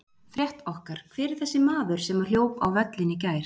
Frétt okkar: Hver er þessi maður sem að hljóp á völlinn í gær?